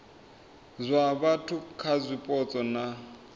zwa vhathu kha zwipotso na